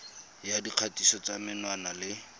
ya dikgatiso tsa menwana le